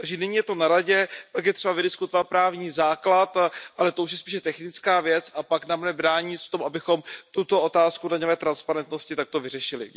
Takže nyní je to na Radě, pak je třeba vydiskutovat právní základ, ale to už je spíše technická věc a pak nám nebrání nic v tom, abychom tuto otázku daňové transparentnosti takto vyřešili.